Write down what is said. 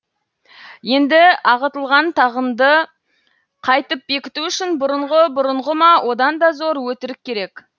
енді ағытылған тағынды қайтып бекіту үшін бұрынғы бұрынғы ма одан да зор өтірік керек